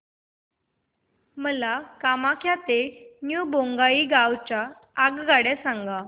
मला कामाख्या ते न्यू बोंगाईगाव च्या आगगाड्या सांगा